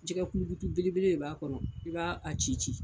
Jɛgɛ kulukutu belebele de b'a kɔnɔ i ba a ci.